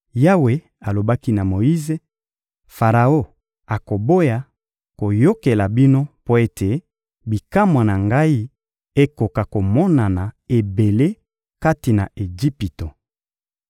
Yawe alobaki na Moyize: «Faraon akoboya koyokela bino mpo ete bikamwa na Ngai ekoka komonana ebele kati na Ejipito.»